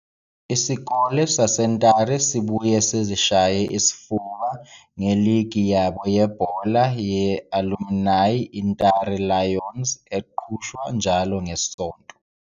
INtare School ibuye izishaye isifuba nge-Alumni Soccer League iNtare Lions League eqhutshwa njalo ngeSonto.